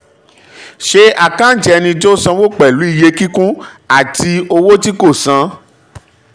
ṣe àkántì ẹni tó sanwó pẹ̀lú iye kíkún àti owó tí kò san.